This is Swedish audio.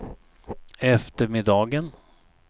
eftermiddagen